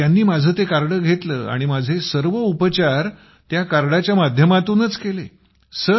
मग त्यांनी माझे ते कार्ड घेतले आणि माझे सर्व उपचार त्या कार्डाच्या माध्यमातूनच केले